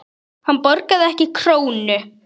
Hann borgaði ekki krónu.